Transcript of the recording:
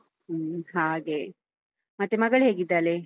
ಹ್ಮು ಹಾಗೆ, ಮತ್ತೆ ಮಗಳು ಹೇಗಿದ್ದಾಳೆ?